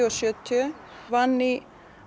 og sjötíu hún vann í